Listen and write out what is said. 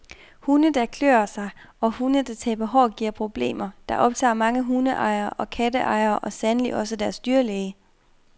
Hunde, der klør sig og hunde der taber hår giver problemer, der optager mange hundeejere og katteejere og sandelig også deres dyrlæge.